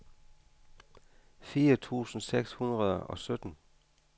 fire tusind seks hundrede og sytten